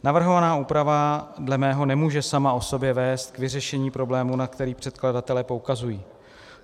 Navrhovaná úprava dle mého nemůže sama o sobě vést k vyřešení problému, na který předkladatelé poukazují.